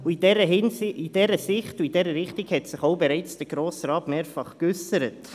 In dieser Hinsicht und Richtung hat sich der Grosse Rat bereits mehrfach geäussert.